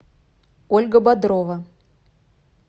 ольга бодрова